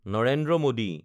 Narendra Modi